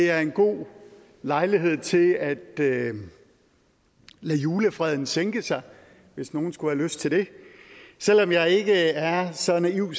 er en god lejlighed til at lade julefreden sænke sig hvis nogen skulle have lyst til det selv om jeg ikke er så naiv